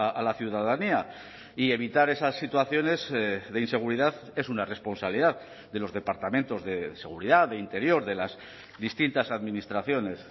a la ciudadanía y evitar esas situaciones de inseguridad es una responsabilidad de los departamentos de seguridad de interior de las distintas administraciones